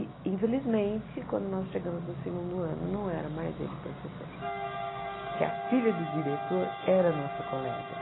E, infelizmente, quando nós chegamos no segundo ano, não era mais ele professor, porque a filha do diretor era nossa colega.